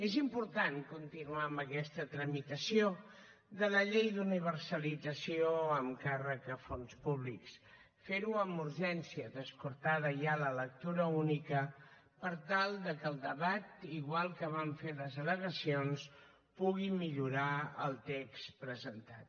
és important continuar amb aquesta tramitació de la llei d’universalització amb càrrec a fons públics fer ho amb urgència descartada ja la lectura única per tal que el debat igual que van fer les al·legacions pugui millorar el text presentat